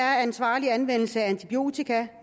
ansvarlig anvendelse antibiotika